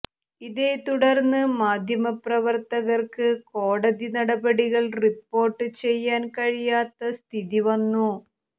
ഇതേ തുടർന്ന് മാധ്യമപ്രവർത്തകർക്ക് കോടതി നടപടികൾ റിപ്പോർട്ട് ചെയ്യാൻ കഴിയാത്ത സ്ഥിതിവന്നു